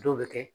Dɔw bɛ kɛ